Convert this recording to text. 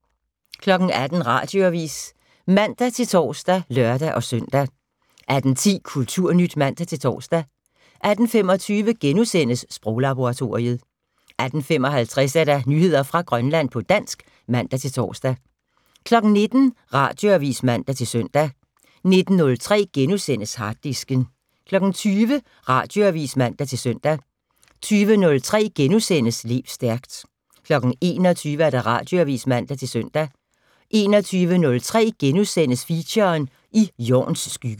18:00: Radioavis (man-tor og lør-søn) 18:10: Kulturnyt (man-tor) 18:25: Sproglaboratoriet * 18:55: Nyheder fra Grønland på dansk (man-tor) 19:00: Radioavis (man-søn) 19:03: Harddisken * 20:00: Radioavis (man-søn) 20:03: Lev stærkt * 21:00: Radioavis (man-søn) 21:03: Feature: I Jorns skygge *